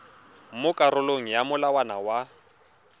mo karolong ya molawana wa